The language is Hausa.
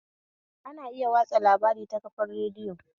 Ana iya watsa labari ta kafar radiyo